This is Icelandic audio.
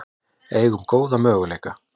Eigum góða möguleika